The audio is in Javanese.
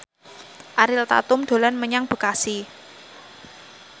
Ariel Tatum dolan menyang Bekasi